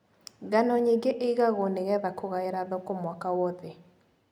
Ngano nyingĩ ĩgagwo nĩgetha kũgaĩra thoko mwaka wothe.